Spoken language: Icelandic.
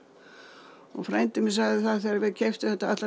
og frændi minn sagði það þegar við keyptum þetta ætlar